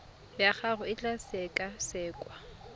ya gago e tla sekasekwa